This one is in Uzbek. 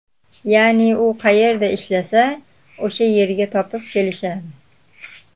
Ya’ni u qayerda ishlasa, o‘sha yerga topib kelishadi.